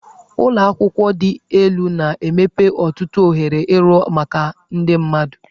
Ụlọ akwụkwọ dị elu na-emepe ọtụtụ ohere ịrụ ọrụ maka ndị mmadụ.